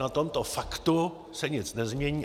Na tomto faktu se nic nezmění.